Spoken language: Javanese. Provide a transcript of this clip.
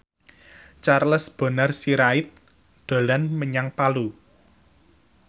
Charles Bonar Sirait dolan menyang Palu